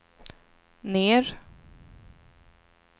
ner